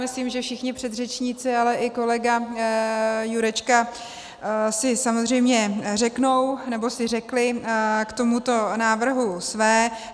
Myslím, že všichni předřečníci, ale i kolega Jurečka si samozřejmě řeknou, nebo si řekli k tomuto návrhu své.